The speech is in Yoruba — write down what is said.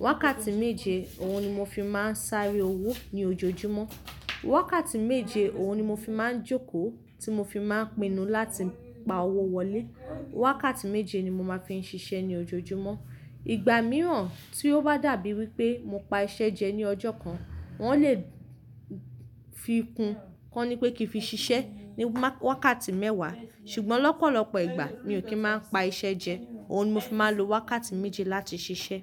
Wákàtí méje, òun ni mo fi máa ń sáré owó ní ojoojúmọ́. Wákàtí méje, òun ni mo fi máa ń jókòó, tí mo fi máa ń pinnu láti pa owó wọlé. Wákàtí méje ni mo máa fi ń ṣiṣẹ́ ní ojoojúmọ́. Ìgbà mìíràn tí ó bá dàbí wí pé mo pa iṣẹ́ jẹ ní ọjọ́ kan, wọn lè fi kún kọ́ni pé kí n fi ṣiṣẹ́ ní wákàtí mẹ́wàá. Ṣùgbọ́n lọ́pọ̀lọpọ̀ ìgbà mi ò kí ń máa pa iṣẹ́ jẹ, òun ni mo fi máa ń lo wákàtí méje láti ṣiṣẹ́.